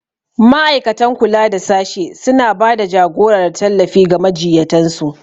Ma'aikatan kula da sashe suna ba da jagora da tallafi ga majiyyatan su.